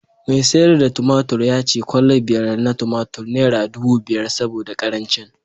mai sayar da tumatur ya ce kwalla biyar na tumatur naira dubu biyar saboda karancin